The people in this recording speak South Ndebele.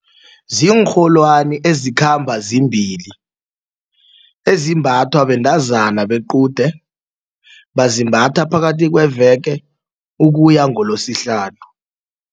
Ziinrholwani ezikhamba zimbili ezimbathwa bentazana bequde bazimbatha phakathi kweveke ukuya ngoloSihlanu.